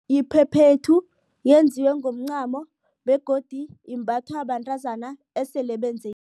Iphephethu yenziwe ngomncamo begodu imbathwa bantazana esele benze